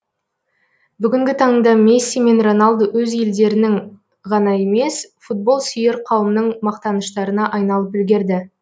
бүгінгі таңда месси мен роналду өз елдерінің ғана емес футболсүйер қауымның мақтаныштарына айналып үлгерді